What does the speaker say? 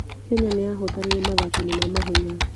Kenya niyahotanire mathako-ini ma mahenya